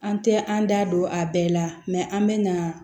An tɛ an da don a bɛɛ la an bɛ na